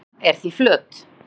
jörðin er því flöt